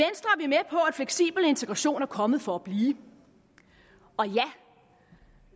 fleksibel integration er kommet for at blive og